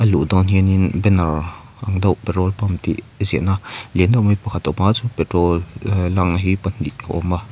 luh dawn hian in banner ang deuh petrol pump tih ziahna lian deuh mai pakhat a awm a chuan petrol ehh lang hi pahnih a awm a.